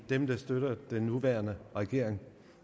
dem der støtter den nuværende regering